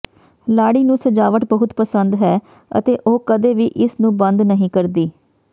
ਲਾੜੀ ਨੂੰ ਸਜਾਵਟ ਬਹੁਤ ਪਸੰਦ ਹੈ ਅਤੇ ਉਹ ਕਦੇ ਵੀ ਇਸ ਨੂੰ ਬੰਦ ਨਹੀਂ ਕਰਦੀ